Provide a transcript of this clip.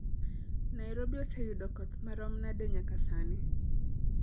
Nairobi oseyudo koth marom nade nyaka sani